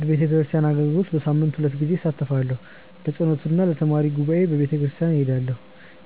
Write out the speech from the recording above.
በቤተክርስቲያን አገልግሎት በሳምንት ሁለት ጊዜ እሳተፋለሁ። ለጸሎት እና ለተማሪ ጉባኤ በቤተክርስቲያን እሄዳለሁ።